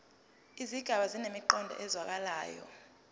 izigaba zinemiqondo ezwakalayo